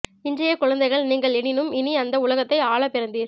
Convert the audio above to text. இன்றைய குழந்தைகள் நீங்கள் எனினும் இனி இந்த உலகத்தை ஆள பிரந்தீர்